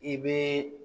I bɛ